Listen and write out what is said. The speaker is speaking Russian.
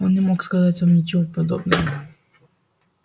он не мог сказать вам ничего подобного